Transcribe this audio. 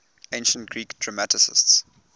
ancient greek dramatists